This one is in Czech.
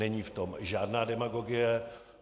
Není v tom žádná demagogie.